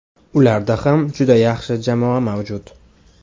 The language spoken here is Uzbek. Ularda ham juda yaxshi jamoa mavjud.